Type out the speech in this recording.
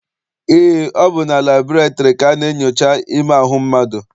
Eé, ọ bụ na labọretịrị ka a na-enyocha ime ahụ mmadụ.